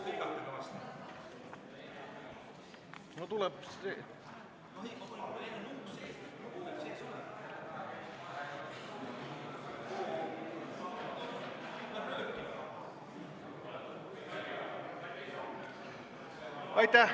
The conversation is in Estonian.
Aitäh!